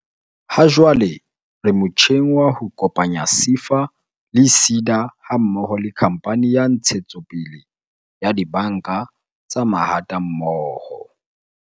"Hajwale re motjheng wa ho kopanya SEFA le SEDA ha mmoho le Khamphane ya Ntshetsopele ya Dibanka tsa Mahatammoho."